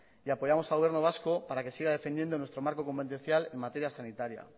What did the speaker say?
y apoyamos al gobierno vasco para que siga defendiendo nuestro marco competencial en materia sanitaria